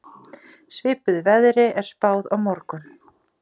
Svipuðu veðri er spáð á morgun